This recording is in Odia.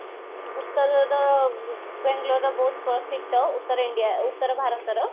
ଉତ୍ତରର ବାଂଲୋରର ବହୁତ ପ୍ରସିଦ୍ଧ ଉତ୍ତର India ଉତ୍ତର ଭାରତର